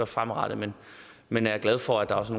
fremadrettet men men jeg er glad for at der også